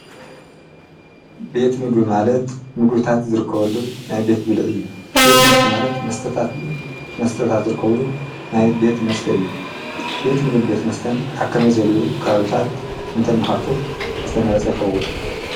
ቤት ምግቢ ማለት ምግብታት ዝርከበሉ ናይ ቤት ብልዒ እዩ፡፡ ቤት መስተ ማለት መስታት ፣መስተታት ዝርከብሉ ናይ ቤት መስተ እዩ፡፡ ቤት ምግብን ቤት መስተን ኣብ ከመይ ዝበለ ከባብታት እንተንኸፍት ዝተመረፀ ይኸውን?